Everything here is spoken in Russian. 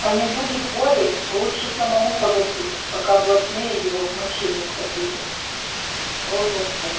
а не будет воли лучше самому погасить пока блатные его в моче не утопили о господи